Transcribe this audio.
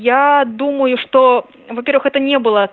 я думаю что во-первых это не было